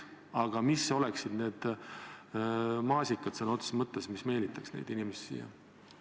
Aga mis oleksid sõna otseses mõttes need maasikad, mis meelitaks neid inimesi siia?